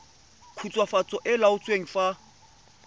khutswafatso e e laotsweng fa